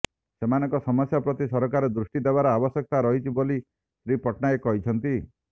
ସେମାନଙ୍କ ସମସ୍ୟା ପ୍ରତି ସରକାର ଦୃଷ୍ଟି ଦେବାର ଆବଶ୍ୟକତା ରହିଛି ବୋଲି ଶ୍ରୀ ପଟ୍ଟନାୟକ କହିଛନ୍ତି